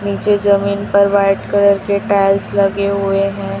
नीचे जमीन पर व्हाइट कलर के टाईल्स लगे हुवे हैं।